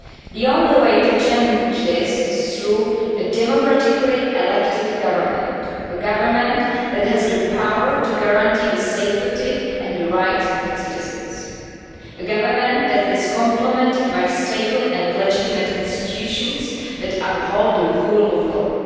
The only way to change this is through a democratically elected government, a government that has the power to guarantee the safety and the rights of its citizens and is complemented by stable and legitimate institutions that uphold the rule of law.